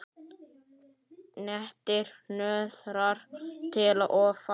Nettir hnoðrar til og frá.